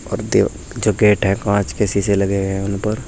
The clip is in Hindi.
जो गेट हैं कांच के शीशे लगे हुए हैं उनपर--